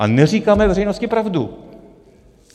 A neříkáme veřejnosti pravdu.